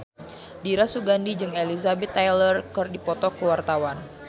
Dira Sugandi jeung Elizabeth Taylor keur dipoto ku wartawan